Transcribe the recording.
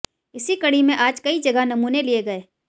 इसी कड़ी में आज कई जगह नमूने लिए गए